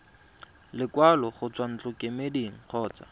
lekwalo go tswa ntlokemeding kgotsa